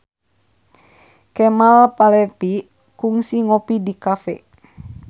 Kemal Palevi kungsi ngopi di cafe